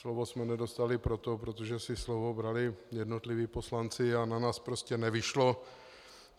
Slovo jsme nedostali proto, protože si slovo brali jednotliví poslanci a na nás prostě nevyšlo.